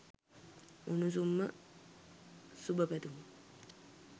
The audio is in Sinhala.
උණුසුම්ම සුබ පැතුම්